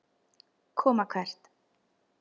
Koma hvert?